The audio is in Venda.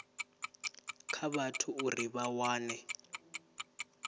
kha vhathu uri vha wane